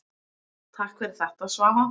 Takk fyrir þetta Svava.